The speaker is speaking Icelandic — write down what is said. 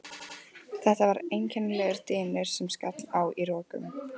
Þetta var einkennilegur dynur sem skall á í rokum.